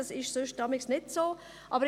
Das ist für gewöhnlich nicht der Fall.